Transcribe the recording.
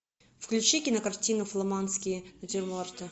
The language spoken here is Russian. включи кинокартину фламандские натюрморты